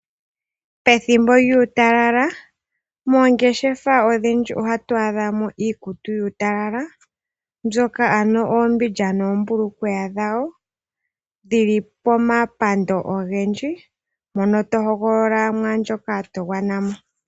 Pethimbo lyuutalala moongeshefa odhindji ohatu adhamo iikutu kuutalala. Mbyoka ano oombindja noombulukweya dhawo dhili pomapando ogendji mono tohoogolola mo ndjoka to gwanamo.